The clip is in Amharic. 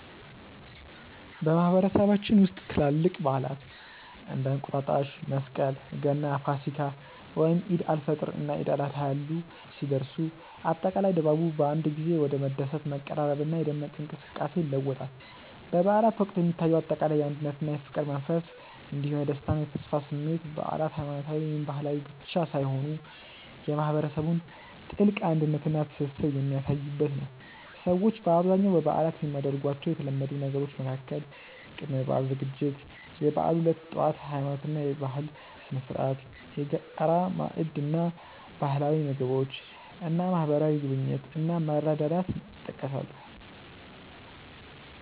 በማህበረሰባችን ውስጥ ትላልቅ በዓላት (እንደ እንቁጣጣሽ፣ መስቀል፣ ገና፣ ፋሲካ፣ ወይም ዒድ አል-ፈጥር እና ዒድ አል-አድሃ ያሉ) ሲደርሱ፣ አጠቃላይ ድባቡ በአንድ ጊዜ ወደ መደሰት፣ መቀራረብና የደመቀ እንቅስቃሴ ይለወጣል። በበዓላት ወቅት የሚታየው አጠቃላይ የአንድነትና የፍቅር መንፈስ እንዲሁም የደስታና የተስፋ ስሜት በዓላት ሃይማኖታዊ ወይም ባህላዊ ብቻ ሳይሆኑ የማህበረሰቡን ጥልቅ አንድነትና ትስስር የሚያሳዩበት ነው። ሰዎች በአብዛኛው በበዓላት የሚያደርጓቸው የተለመዱ ነገሮች መካከል ቅድመ-በዓል ዝግጅት፣ የበዓሉ ዕለት ጠዋት (የሃይማኖትና የባህል ስነ-ስርዓት)፣የጋራ ማዕድ እና ባህላዊ ምግቦች እና ማህበራዊ ጉብኝት እና መረዳዳት ይጠቀሳሉ።